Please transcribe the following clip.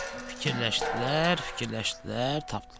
Fikirləşdilər, fikirləşdilər, tapdılar.